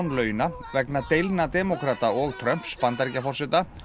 launa vegna deilna demókrata og Trumps Bandaríkjaforseta